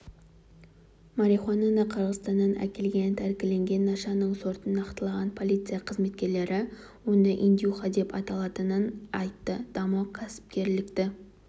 марихуананы қырғызстаннан әкелген тәркіленген нашаның сортын нақтылаған полиция қызметкерлері оны индюха деп аталатынын айтты даму кәсіпкерлікті